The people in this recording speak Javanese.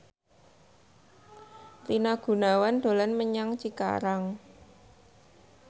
Rina Gunawan dolan menyang Cikarang